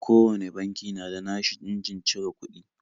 Kowane banki na da na shi injin cire kuɗi